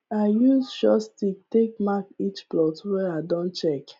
i use short stick take mark each plot wey i don check